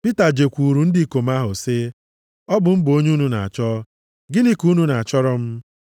Pita jekwuru ndị ikom ahụ, sị, “Ọ bụ m bụ onye unu na-achọ, gịnị ka unu na-achọrọ m?”